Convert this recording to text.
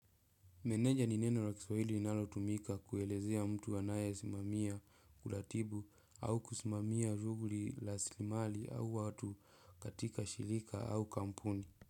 Meneja nineno la kiswaili inalo tumika kuelezea mtu anaye simamia kuratibu au kusimamia shuguli rasilimali au watu katika shirika au kampuni.